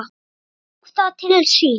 Hann tók það til sín